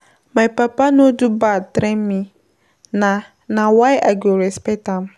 My papa no do bad train me na na why I go dey respect am.